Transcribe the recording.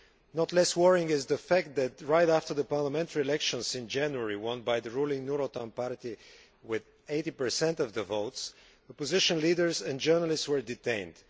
Not less worrying is the fact that, right after the parliamentary elections in January won by the ruling Nur Otan party with 80 of the votes, opposition leaders and journalists were detained.